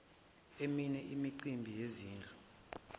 emini imicimbi yezidlo